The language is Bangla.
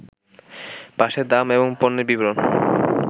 পাশে দাম এবং পণ্যের বিবরণ